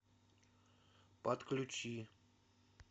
подключи